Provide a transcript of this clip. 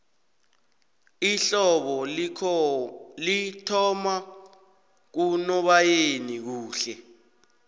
ihlobo lithoma kunoboyeni kuhle